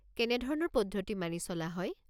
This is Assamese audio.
কেনেধৰণৰ পদ্ধতি মানি চলা হয়?